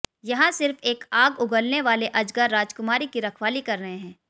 यहाँ सिर्फ एक आग उगलने वाले अजगर राजकुमारी की रखवाली कर रहे हैं